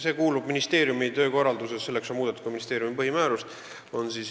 See kuulub ministeeriumi töövaldkonda, selleks on muudetud ka ministeeriumi põhimäärust.